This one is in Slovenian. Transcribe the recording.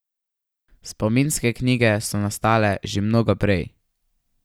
Spominske knjige so nastale že mnogo prej.